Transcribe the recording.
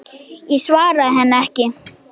Ég svaraði henni ekki.